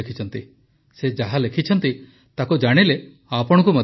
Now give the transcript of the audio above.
ସେ ଯାହା ଲେଖିଛନ୍ତି ତାକୁ ଜାଣିଲେ ଆପଣଙ୍କୁ ମଧ୍ୟ ଭଲ ଲାଗିବ